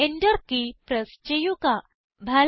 ഇപ്പോൾ Enter key press ചെയ്യുക